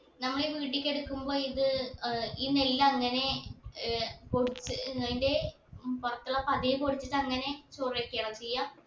നമ്മൾ ഈ വീട്ടിക്ക് എടുക്കുമ്പോ ഇത് ഏർ ഈ നെല്ല് അങ്ങനെ ഏർ പൊടിച്ച് ഏർ അയിന്റെ ഉം പൊറത്തുള്ള പതിയെ പൊടിച്ചിട്ട് അങ്ങനെ ചോറ് വെക്കയാണോ ചെയ്യ